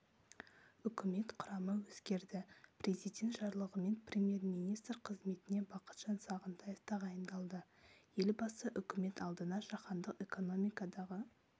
үкімет құрамы өзгерді президент жарлығымен премьер-министр қызметіне бақытжан сағынтаев тағайындалды елбасы үкімет алдына жаһандық экономикадағы